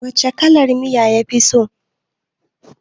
Wace kalar miya ka fi so